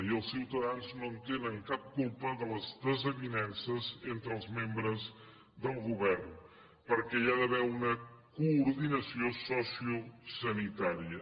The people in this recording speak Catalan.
i els ciutadans no en tenen cap culpa de les desavinences entre els membres del govern perquè hi ha d’haver una coordinació sociosanitària